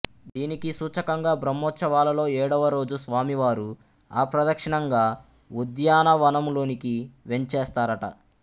దీనికి సూచకంగా బ్రహ్మోత్సవాలలో ఏడవరోజు స్వామివారు అప్రదక్షిణంగా ఉద్యానవనంలోనికి వేంచేస్తారట